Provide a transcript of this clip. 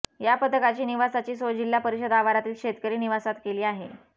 या पथकाची निवासाची सोय जिल्हा परिषद आवारातील शेतकरी निवासात केली आहे